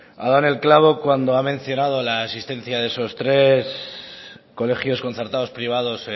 ha dado en el clavo cuando ha mencionado la existencia de esos tres colegios concertados privados